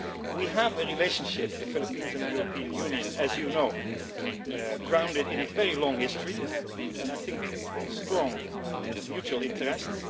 We have a relationship the Philippines and the European Union as you know, grounded in a very long history and strong mutual interests.